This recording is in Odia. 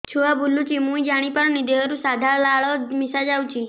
ଛୁଆ ବୁଲୁଚି ମୁଇ ଜାଣିପାରୁନି ଦେହରୁ ସାଧା ଲାଳ ମିଶା ଯାଉଚି